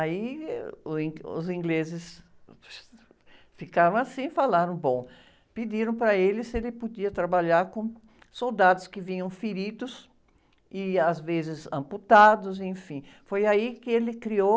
Aí, eh, uh, o in, os ingleses ficaram assim e falaram, bom, pediram para ele se ele podia trabalhar com soldados que vinham feridos e às vezes amputados, enfim, foi aí que ele criou